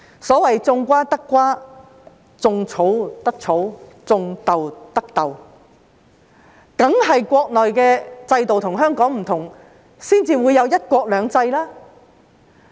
所謂"種瓜得瓜，種草得草，種豆得豆"，當然是國內的制度與香港有所不同才會有"一國兩制"。